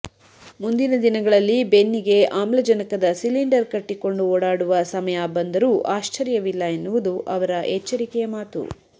ಮುಂದಿನ ದಿನಗಳಲ್ಲಿ ಬೆನ್ನಿಗೆ ಆಮ್ಲಜನಕದ ಸಿಲಿಂಡರ್ ಕಟ್ಟಿಕೊಂಡು ಓಡಾಡುವ ಸಮಯ ಬಂದರೂ ಆಶ್ಚರ್ಯವಿಲ್ಲ ಎನ್ನುವುದು ಅವರ ಎಚ್ಚರಿಕೆಯ ಮಾತು